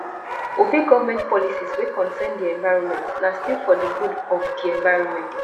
obey government policies wey concern di environment na still for di good of di environment